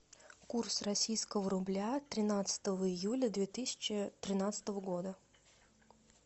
курс российского рубля тринадцатого июля две тысячи тринадцатого года